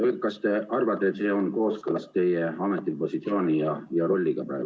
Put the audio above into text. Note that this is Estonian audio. Kas te arvate, et see on kooskõlas teie praeguse ametipositsiooni ja rolliga?